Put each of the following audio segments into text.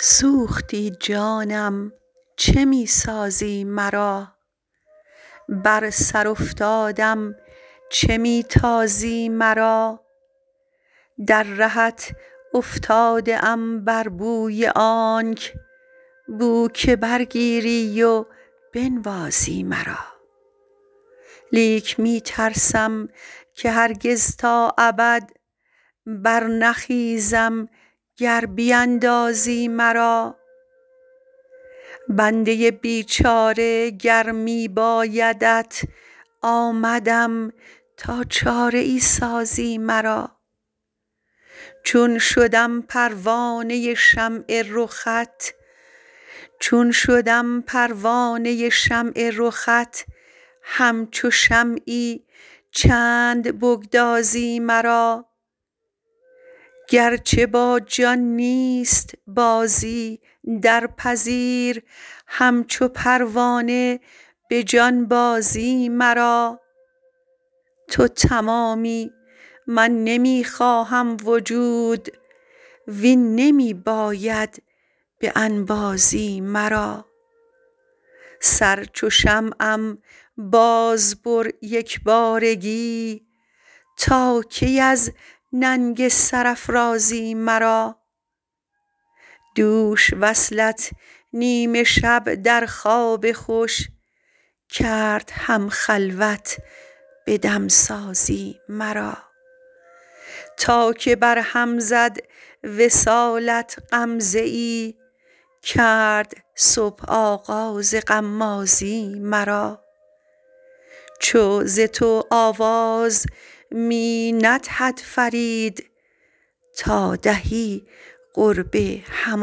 سوختی جانم چه می سازی مرا بر سر افتادم چه می تازی مرا در رهت افتاده ام بر بوی آنک بوک بر گیری و بنوازی مرا لیک می ترسم که هرگز تا ابد بر نخیزم گر بیندازی مرا بنده بیچاره گر می بایدت آمدم تا چاره ای سازی مرا چون شدم پروانه شمع رخت همچو شمعی چند بگدازی مرا گرچه با جان نیست بازی درپذیر همچو پروانه به جانبازی مرا تو تمامی من نمی خواهم وجود وین نمی باید به انبازی مرا سر چو شمعم بازبر یکبارگی تا کی از ننگ سرافرازی مرا دوش وصلت نیم شب در خواب خوش کرد هم خلوت به دمسازی مرا تا که بر هم زد وصالت غمزه ای کرد صبح آغاز غمازی مرا چو ز تو آواز می ندهد فرید تا دهی قرب هم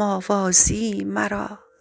آوازی مرا